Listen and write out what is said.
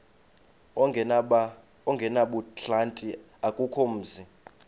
ongenabuhlanti akukho mzi